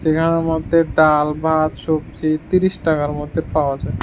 মধ্যে ডাল ভাত সবজি তিরিশ টাকার মধ্যে পাওয়া যায়।